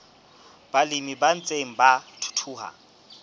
balemi ba ntseng ba thuthuha